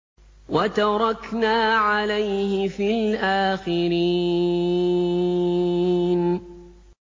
وَتَرَكْنَا عَلَيْهِ فِي الْآخِرِينَ